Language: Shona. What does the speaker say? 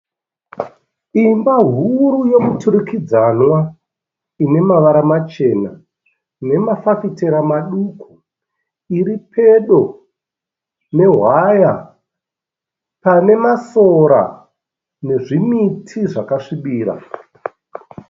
Imba huru yomuturikidzanwa ine mavara machena nemafafitera maduku iri pedo nehwaya pane masora nezvimiti zvakasvibira.